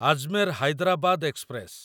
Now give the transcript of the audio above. Ajmer Hyderabad express